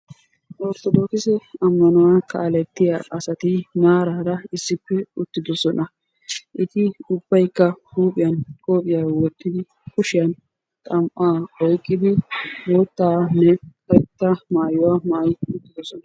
ortodookisse ammanuwa kaaletiya aawati maarara issippe uttidosona, eti ubaykka huuphiyan xam'aa wotidi bootanne karetta maayidosona.